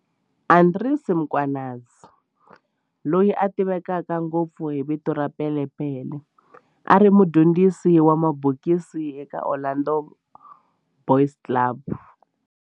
Andries Mkhwanazi, loyi a tiveka ngopfu hi vito ra Pele Pele, a ri mudyondzisi wa mabokisi eka Orlando Boys Club.